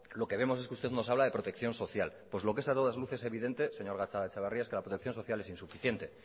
lo que vemos que usted nos habla de protección social pues lo que es a todas luces evidente señor gatzagaetxebarria es que la protección social es insuficiente